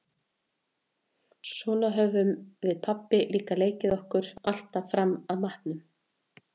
Svona höfðum við pabbi líka leikið okkur alltaf fram að matnum.